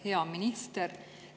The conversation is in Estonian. Hea minister!